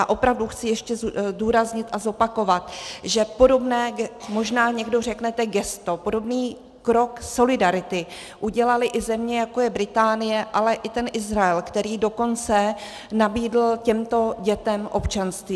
A opravdu chci ještě zdůraznit a zopakovat, že podobné, možná někdo řeknete gesto, podobný krok solidarity udělaly i země, jako je Británie, ale i ten Izrael, který dokonce nabídl těmto dětem občanství.